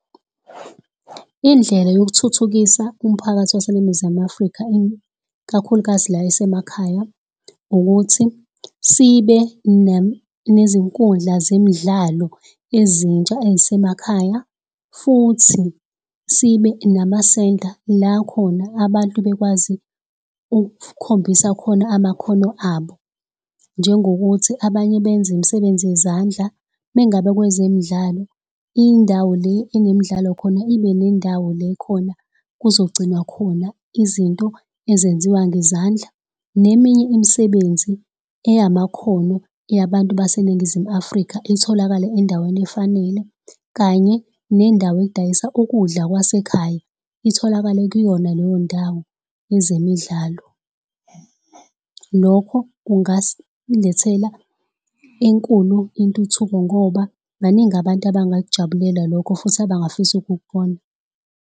Indlela yokuthuthukisa umphakathi waseNingizimu Afrika ikakhulukazi le esemakhaya, ukuthi sibe nezinkundla zemidlalo ezintsha ezisemakhaya. Futhi sibe namasenta la khona abantu bekwazi ukukhombisa khona amakhono abo. Njengokuthi abanye benze imsebenzi yezandla, uma ngabe kwezemidlalo, indawo le enemidlalo khona ibe nendawo le khona kuzogcinwa khona izinto ezenziwa ngezandla, neminye imisebenzi eyamakhono yabantu baseNingizimu Afrika itholakale endaweni efanele, kanye nendawo edayisa ukudla kwasekhaya, itholakale kuyona leyo ndawo yezemidlalo. Lokho kungasilethela enkulu intuthuko ngoba baningi abantu abangakujabulela lokho, futhi abangafisa ukukubona.